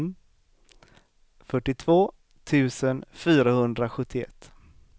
fyrtiotvå tusen fyrahundrasjuttioett